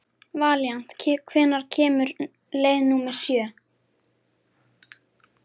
Valíant, hvenær kemur leið númer sjö?